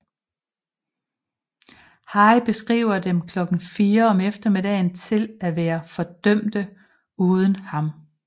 Haigh beskriver dem klokken fire om eftermiddagen til at være fordømte uden ham